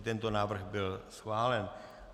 I tento návrh byl schválen.